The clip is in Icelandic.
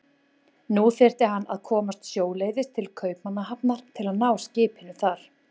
Nú þyrfti hann að komast sjóleiðis til Kaupmannahafnar til að ná skipinu þar.